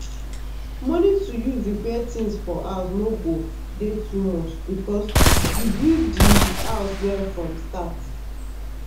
money to use repair things for house no go dey too much because you build di house well from start.